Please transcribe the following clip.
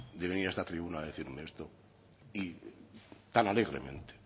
de venir a esta tribuna a decirme esto tan alegremente